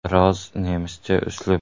Biroz nemischa uslub.